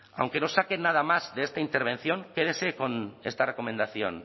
aunque no saquen nada más de esta intervención quédense con esta recomendación